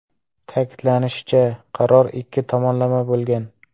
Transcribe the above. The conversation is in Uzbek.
Ta’kidlanishicha, qaror ikki tomonlama bo‘lgan.